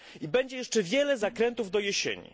Będzie jeszcze wiele zakrętów do jesieni.